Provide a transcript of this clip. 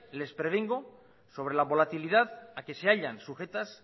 les prevengo sobre la volatilidad a que se hallan sujetas